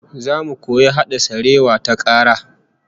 Zamu koyi hada sarewa ta kara